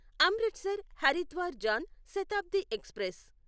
Amritsar Haridwar Jan Shatabdi express